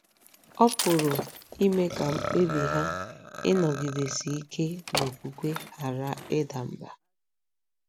um Ọ̀ pụrụ ime ka um mkpebi ha ịnọgidesi ike n'okwukwe ghara ịda mbà?